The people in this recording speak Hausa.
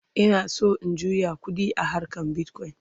Ina San in juya ƙuɗi a harkan bitcoin